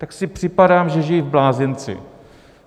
Tak si připadám, že žiji v blázinci.